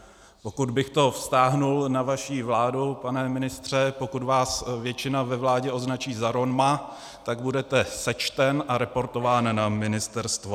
Pokud bych to vztáhl na vaši vládu, pane ministře, pokud vás většina ve vládě označí za Roma, tak budete sečten a reportován na ministerstvo.